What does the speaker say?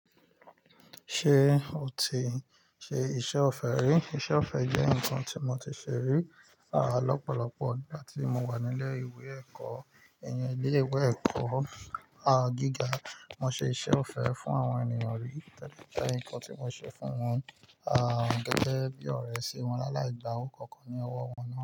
Ṣé o ti ṣe iṣẹ́ ọ̀fẹ́ rí? Iṣẹ́ ọ̀fẹ́ jẹ́ nǹkan tí mo ti ṣe rí, à lọ́pọ̀lọ́pọ̀ ìgbà tí mo wà nílé ìwé ẹ̀kọ́. Ẹ̀yin ilé ìwé ẹ̀kọ́, gíga, mo ṣe iṣẹ́ ọ̀fẹ́ fún àwọn ènìyàn rí. O dẹ jẹ nǹkan tí mo ṣe fún wọn, gẹ́gẹ́ bí ọ̀rẹ́ si wọn láláì gba owó kankan ní ọwọ́ wọn náà.